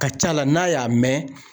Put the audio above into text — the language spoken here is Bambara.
Ka ca la n'a y'a mɛn